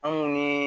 Anw ye